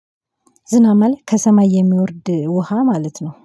ዝናብ ማለት ከሰማይ የሚወርድ ውሃ ማለት ነው